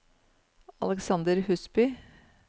Alexander Husby